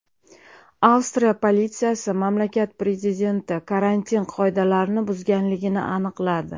Avstriya politsiyasi mamlakat prezidenti karantin qoidalarini buzganligini aniqladi.